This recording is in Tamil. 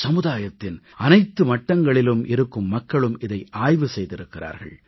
சமுதாயத்தின் அனைத்து மட்டங்களிலும் இருக்கும் மக்களும் இதை ஆய்வு செய்திருக்கிறார்கள்